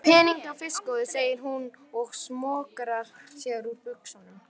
Peningana fyrst góði, segir hún og smokrar sér úr buxunum.